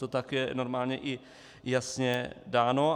To tak je normálně i jasně dáno.